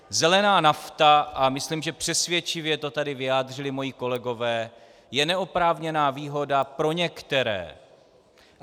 Zelená nafta a myslím, že přesvědčivě to tady vyjádřili moji kolegové, je neoprávněná výhoda pro některé.